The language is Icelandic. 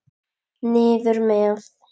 Niður með.